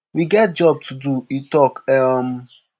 we get job to do" e tok. um